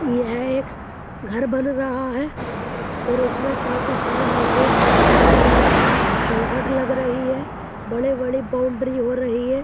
यह एक घर बन रहा है और इसमें काफी सारे मजदूर काम कर रहे हैं। चौखट लग रही है। बड़े-बड़े बाउंड्री हो रही है।